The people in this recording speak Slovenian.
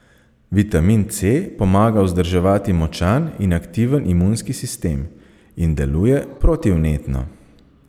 Vitamin C pomaga vzdrževati močan in aktiven imunski sistem in deluje protivnetno.